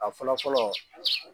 A fɔlɔ fɔlɔ